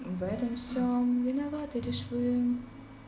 в этом всём виноваты рисуем